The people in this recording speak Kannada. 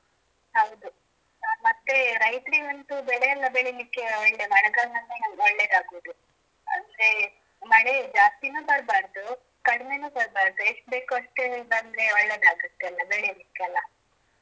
ಹೌದು ಮತ್ತೆ ರೈತ್ರಿಗೆ ಅಂತೂ ಬೆಳೆ ಎಲ್ಲ ಬೆಳಿಲಿಕ್ಕೆ ಒಳ್ಳೆ ಮಳೆಗಾಲದಲ್ಲಿ ಒಳ್ಳೇದಾಗುದು ಅಂದ್ರೆ. ಮಳೆ ಜಾಸ್ತಿನೂ ಬರ್ಬಾರ್ದು ಕಡಿಮೆನು ಬರ್ಬಾರ್ದು ಎಷ್ಟು ಬೇಕು ಅಷ್ಟೇ ಬಂದ್ರೆ ಒಳ್ಳೇದಾಗತ್ತೆ ಅಲಾ ಬೆಳೀಲಿಕ್ಕೆಲ್ಲಾ.